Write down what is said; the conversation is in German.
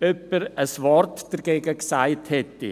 ein Wort dagegen gesagt hatte.